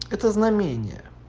это знамение